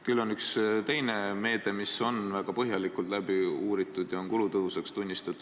Küll on üks teine meede, mida on väga põhjalikult uuritud ja mis on kulutõhusaks tunnistatud.